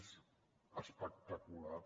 és espectacular